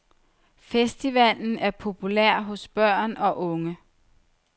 Festivalen er populær hos børn og unge.